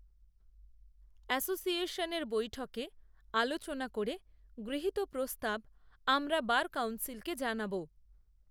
অ্যাসোসিয়েশনের বৈঠকে, আলোচনা করে গৃহীত প্রস্তাব, আমরা বার কাউন্সিলকে জানাব